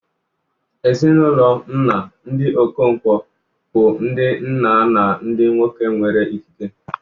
Ezinụlọ nna, ndị Okonkwo, bụ ndị nna na ndị nwoke nwere ikike.